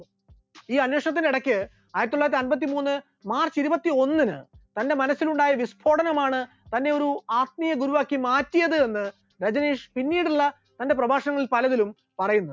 ഈ അന്വേഷണത്തിന്റെ ഇടക്ക് ആയിരത്തിത്തൊള്ളായിരത്തി അൻപത്തിമൂന്ന് march ഇരുപത്തിയൊന്നിന് തന്റെ മനസ്സിൽ ഉണ്ടായിരുന്ന വിസ്ഫോടനമാണ് തന്നെയൊരു ആത്മീയ ഗുരുവാക്കി മാറ്റിയത് എന്ന് രജനീഷ് പിന്നീടുള്ള തന്റെ പ്രഭാഷണങ്ങളിൽ പലതിലും പറയുന്നുണ്ട്.